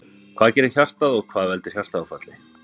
Hvað gerir hjartað og hvað veldur hjartaáfalli?